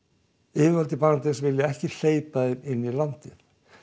yfirvöld í Bangladess vilja ekki hleypa þeim inn í landið